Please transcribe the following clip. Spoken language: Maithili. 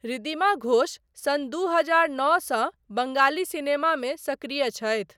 ऋधिमा घोष सन दू हजार नाओ सँ बङ्गाली सिनेमामे सक्रिय छथि।